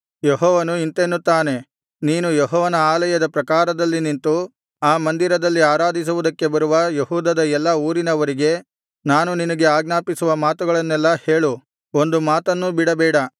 ಯೆಹೋವನು ಇಂತೆನ್ನುತ್ತಾನೆ ನೀನು ಯೆಹೋವನ ಆಲಯದ ಪ್ರಾಕಾರದಲ್ಲಿ ನಿಂತು ಆ ಮಂದಿರದಲ್ಲಿ ಆರಾಧಿಸುವುದಕ್ಕೆ ಬರುವ ಯೆಹೂದದ ಎಲ್ಲಾ ಊರಿನವರಿಗೆ ನಾನು ನಿನಗೆ ಆಜ್ಞಾಪಿಸುವ ಮಾತುಗಳನ್ನೆಲ್ಲಾ ಹೇಳು ಒಂದು ಮಾತನ್ನೂ ಬಿಡಬೇಡ